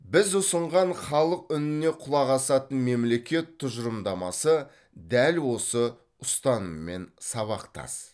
біз ұсынған халық үніне құлақ асатын мемлекет тұжырымдамасы дәл осы ұстаныммен сабақтас